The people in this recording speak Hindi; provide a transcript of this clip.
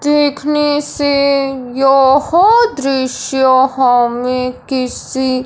देखने से यह दृश्य हमें किसी--